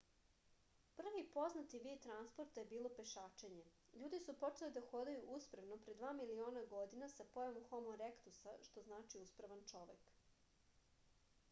први познати вид транспорта је било пешачење. људи су почели да ходају усправно пре 2 милиона година са појавом homo erectus-а што значи усправан човек